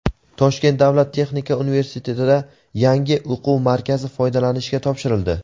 Toshkent davlat texnika universitetida yangi o‘quv markazi foydalanishga topshirildi.